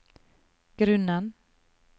grunnen